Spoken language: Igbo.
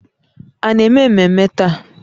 A na-eme mmemme taa?